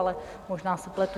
Ale možná se pletu.